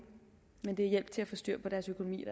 men hjælp til at få styr på deres økonomi